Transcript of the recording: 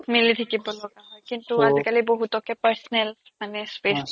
মিলি থাকিব লগা হয় কিন্তু আজিকালি বহুতকে personal মানে space